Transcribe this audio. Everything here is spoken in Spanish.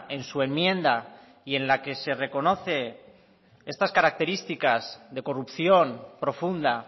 en su enmienda y en la que se reconoce estas características de corrupción profunda